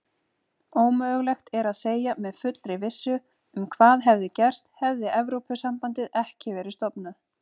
Ómögulegt er að segja með fullri vissu hvað hefði gerst hefði Evrópusambandið ekki verið stofnað.